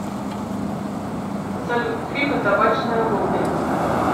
салют фильмы табачное лобби